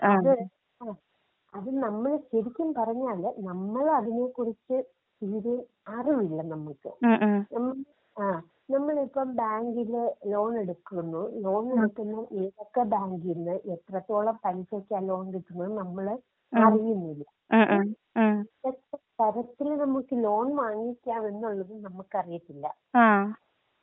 അത് അത് നമ്മള് ശെരിക്കും പറഞ്ഞാല് നമ്മളതിനെ കുറിച്ച് തീരേ അറിവില്ല നമുക്ക്. നമ്മള് ആഹ് നമ്മളിപ്പം ബാങ്കില് ലോണെടുക്കുന്നൂ. ലോൺ എടുക്കുമ്പോ ഏതൊക്കെ ബാങ്കിന്ന് എത്രത്തോളം പലിശക്കാ ലോൺ കിട്ടുന്നത് എന്ന് നമ്മള് അറിയുന്നില്ല. എത്ര തരത്തില് നമ്മക്ക് ലോൺ വാങ്ങിക്കാമെന്നുള്ളത് നമ്മക്കറിയത്തില്ല.